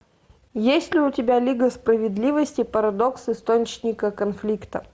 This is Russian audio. есть ли у тебя лига справедливости парадокс источника конфликта